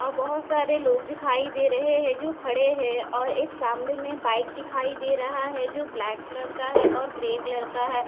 और बहुत सारे लोग दिखाई दे रहे है जो खड़े है और एक सामने में बाइक दिखाई दे रहा है जो ब्लैक कलर का है और ग्रे कलर का है।